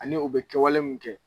Ani u bɛ kɛwale min kɛ